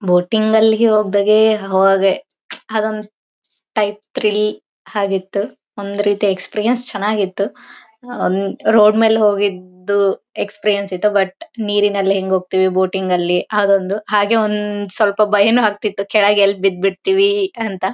Boating ಅಲ್ಲಿಗೆ ಹೊಗ್ಡಾಗೆ ಅವಾಗ ಅದೊಂದು ಟೈಪ್ ಥ್ರಿಲ್ ಆಗಿತ್ತು ಒಂದು ರೀತಿಯ ಎಕ್ಸ್ಪೀರಿಯೆನ್ಸ್ ಚೆನ್ನಾಗಿತ್ತು ರೋಡ್ ಮೇಲೆ ಹೋಗಿದ್ದು ಎಕ್ಸ್ಪೀರಿಯೆನ್ಸ್ ಸಹಿತ ಬಟ್ ನೀರಿನಲ್ಲಿ ಹೆಂಗ್ ಹೋಗ್ತಿವಿ ಬೋಟಿಂಗ್ ಲ್ಲಿ ಅದೊಂದು ಹಾಗೆ ಒಂದು ಸ್ವಲ್ಪ ಭಯನೂ ಆಗ್ತಿತ್ತು ಕೆಳಗೆ ಎಲ್ಲಿ ಬಿಡ್ ಬಿಡ್ತಿವಿ ಅಂತ.